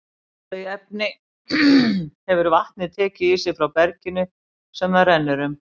Þau efni hefur vatnið tekið í sig frá berginu sem það rennur um.